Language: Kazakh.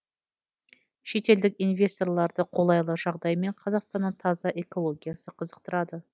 шетелдік инвесторларды қолайлы жағдай мен қазақстанның таза экологиясы қызықтырады